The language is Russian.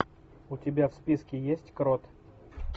у тебя в списке есть крот